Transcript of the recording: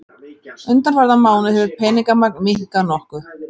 Undanfarna mánuði hefur peningamagn minnkað nokkuð